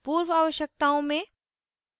पूर्व आवश्यकताओं में